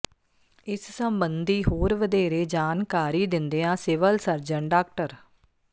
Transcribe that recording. ਇਸ ਸਬੰਧੀ ਹੋਰ ਵਧੇਰੇ ਜਾਣਕਾਰੀ ਦਿੰਦਿਆਂ ਸਿਵਲ ਸਰਜਨ ਡਾ